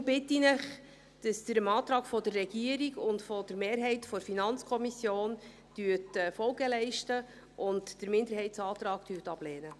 Deshalb bitte ich Sie, dem Antrag der Regierung und der Mehrheit der FiKo Folge zu leisten und den Minderheitsantrag abzulehnen.